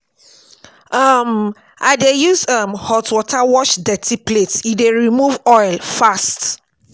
um I dey use um hot water wash dirty plates, e dey remove oil fast.